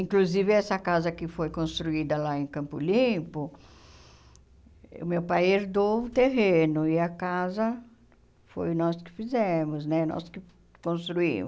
Inclusive essa casa que foi construída lá em Campo Limpo, o meu pai herdou o terreno e a casa foi nós que fizemos né, nós que construímos.